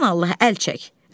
Sən Allaha əl çək.